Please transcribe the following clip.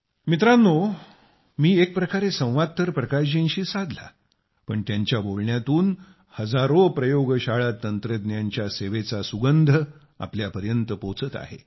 मित्रांनो मी एकप्रकारे संवाद तर प्रकाशजींशी साधला पण त्यांच्या बोलण्यातून हजारो प्रयोगशाळा तंत्रज्ञांच्या सेवेचा सुगंध आपल्यापर्यंत पोहोचत आहे